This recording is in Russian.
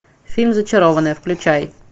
фильм зачарованные включай